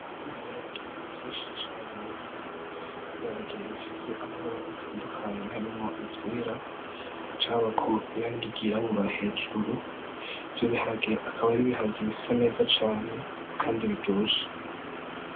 Ibiharage vyishi cane ibiharage bifise amabara atandukanye harimwo ivyera hagaca habako irangi ryirabura hejuru ivyo biharagi akaba ari ibiharage bisa neza cane kandi biryoshe.